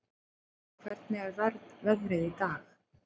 Silfa, hvernig er veðrið í dag?